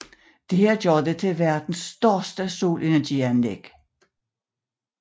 Dette gør det til verdens største solenergianlæg